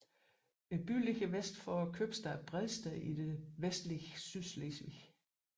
Byen ligger vest for købstaden Bredsted i det vestlige Sydslesvig